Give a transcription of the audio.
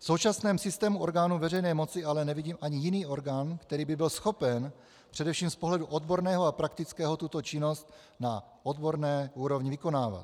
V současném systému orgánů veřejné moci ale nevidím ani jiný orgán, který by byl schopen především z pohledu odborného a praktického tuto činnost na odborné úrovni vykonávat.